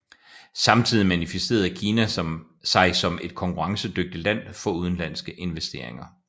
Samtidig manifesterede Kina sig som et konkurrencedygtigt land for udenlandske investeringer